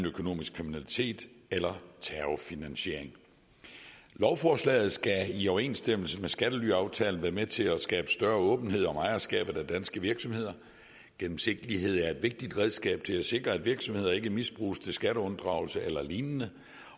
økonomisk kriminalitet eller terrorfinansiering lovforslaget skal i overensstemmelse med skattelyaftalen være med til at skabe større åbenhed om ejerskabet af danske virksomheder gennemsigtighed er et vigtigt redskab til at sikre at virksomheder ikke misbruges til skatteunddragelse eller lignende